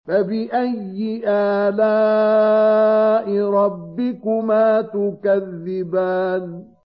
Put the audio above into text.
فَبِأَيِّ آلَاءِ رَبِّكُمَا تُكَذِّبَانِ